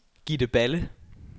Gitte Balle